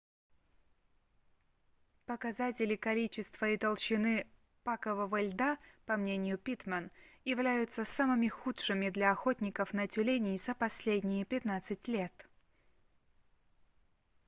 показатели количества и толщины пакового льда по мнению питтман являются самыми худшими для охотников на тюленей за последние 15 лет